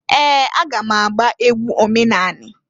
Ee! Aga m agba egwu omenanị.